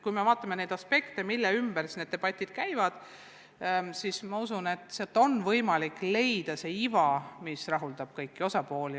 Kui me vaatame aspekte, mille ümber debatid käivad, siis ma usun, et on võimalik leida see iva, mis rahuldab kõiki osapooli.